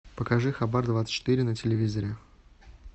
покажи хабар двадцать четыре на телевизоре